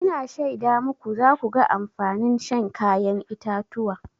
Ina shaida muku za ku ga amfanin shan kayan itatuwa.